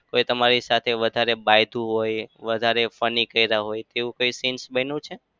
કોઈ તમારી સાથે વધારે હોય વધારે funny કર્યા હોય તેવું કોઈ scenes બન્યું છે?